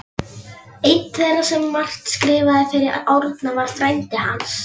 Einn þeirra sem margt skrifaði fyrir Árna var frændi hans